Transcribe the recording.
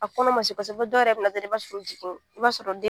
A kɔnɔ ma se kosɛbɛ, dɔw yɛrɛ bɛ na dɔrɔn i' b'a sɔrɔ u jigin i b'a sɔrɔ den